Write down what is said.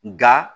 Nga